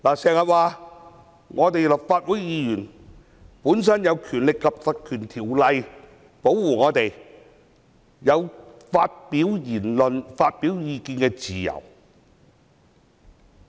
有人經常說立法會議員本身受到《條例》保護，有發表言論和意見的自由。